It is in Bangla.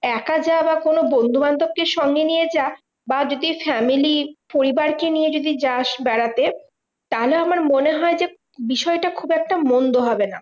একা যা বা কোনো বন্ধুবান্ধব কে সঙ্গে নিয়ে যা বা যদি family পরিবারকে নিয়ে যদি যাস বেড়াতে, তাহলে আমার মনে হয় যে বিষয়টা খুব একটা মন্দ হবে না।